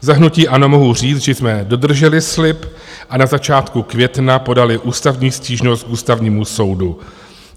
Za hnutí ANO mohu říct, že jsme dodrželi slib a na začátku května podali ústavní stížnost k Ústavnímu soudu.